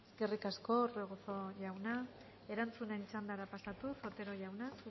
eskerrik asko orbegozo jauna erantzunen txandara pasatuz otero jauna